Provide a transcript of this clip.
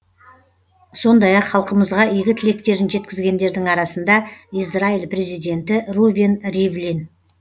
сондай ақ халқымызға игі тілектерін жеткізгендердің арасында израиль президенті рувен ривлин